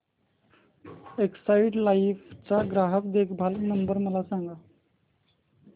Exide Life चा ग्राहक देखभाल नंबर मला सांगा